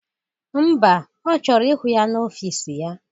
Ḿbà, Ọ chọrọ ịhụ ya n'ọfịs ya